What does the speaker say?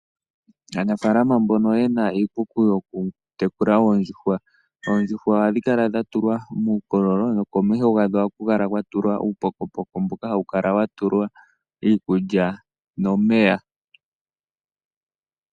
Aanafaalama mbono yena iikuku yoku tekula oondjuhwa, oondjuhwa ohadhi kala dha tulwa muukololo, no komeho gadho ohaku kala kwa tulwa uupokopoko mboka hawu kala wa tulwa iikulya nomeya.